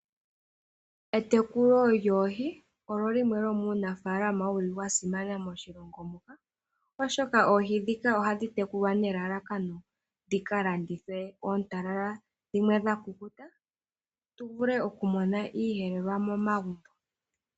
Etekulo lyoohi olyo limwe lyo muunafaalama wu li wasimana moshilongo muka, oshoka oohi ndhika ohadhi tekulwa nelalakano dhi ka landithwe ontalala dho dhimwe dha kukuta tu vule okumona iiyelelwa momagumbo.